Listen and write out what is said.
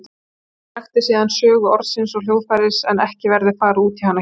Baldur rakti síðan sögu orðsins og hljóðfærisins en ekki verður farið út í hana hér.